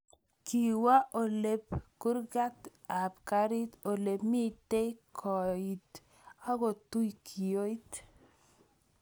Kiiwoo oleep kurgeet ap kariit ole miteei koit agotuui kiooit